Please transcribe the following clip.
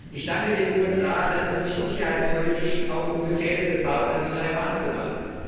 Ich danke den USA, dass sie sich sicherheitspolitisch auch um gefährdete Partner wie Taiwan kümmern.